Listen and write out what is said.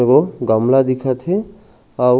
ए गो गमला दिखत हे आऊ--